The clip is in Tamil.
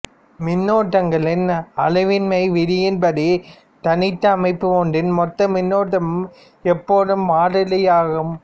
மின்னூட்டங்களின் அழிவின்மை விதியின் படி தனித்த அமைப்பு ஒன்றின் மொத்த மின்னூட்டம் எப்போதும் மாறிலியாகும்